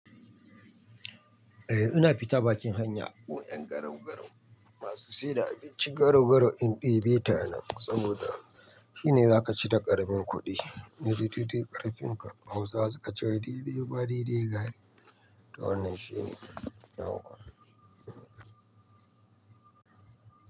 Eh ina fita bakin hanya gun 'yan garau-garau masu siyar da abinci garau-garau in ɗebeta anan saboda shine zakaci da ƙaramin kuɗi. Mai daidai ƙarfin ka Hausawa suka ce "wai daidai ruwa daidai gari" to wannan shine yawwa.